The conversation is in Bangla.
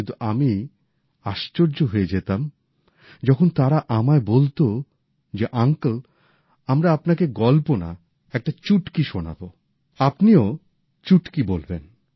কিন্তু আমি আশ্চর্য হয়ে যেতাম যখন তারা আমায় বলতেন যে আঙ্কেল আমরা আপনাকে গল্প না একটা চুটকি শোনাবো আর আপনিও চুটকি বলবেন